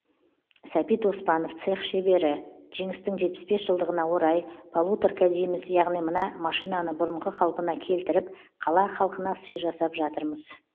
сәбит оспанов цех шебері жеңістің жетпіс бес жылдығына орай полуторка дейміз яғни мына машинаны бұрынғы қалпына келтіріп қала халқына сый жасап жатырмыз